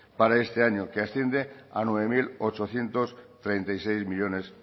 para este año que asciende a nueve mil ochocientos treinta y seis millónes